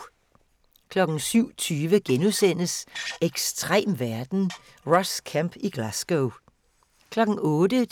07:20: Ekstrem verden - Ross Kemp i Glasgow * 08:00: